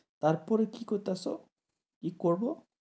তারপর কি কইতাসো, কি করবো?